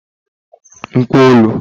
mkpolu